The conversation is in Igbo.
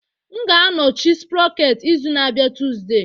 M ga-anọchi sprocket izu na-abịa Tuesday